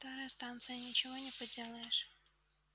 старая станция ничего не поделаешь